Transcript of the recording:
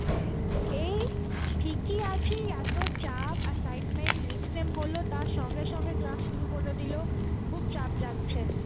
এই ঠিকই আছি, এত চাপ assignment midsame হলো তার সঙ্গে সঙ্গে class শুরু করে দিলো খুব চাপ যাচ্ছে.